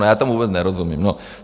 No já tomu vůbec nerozumím.